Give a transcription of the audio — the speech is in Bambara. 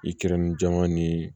I kɛrɛnin jama ni